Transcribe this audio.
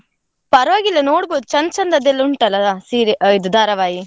ಪರ್ವಾಗಿಲ್ಲ ನೋಡ್ಬೋದು ಚೆಂದ ಚೆಂದದ ಎಲ್ಲಾ ಉಂಟಲ್ಲ ಸೀರೆ ಅಹ್ ಇದು ಧಾರಾವಾಹಿ.